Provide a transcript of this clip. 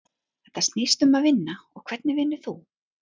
Þetta snýst um að vinna og hvernig vinnur þú?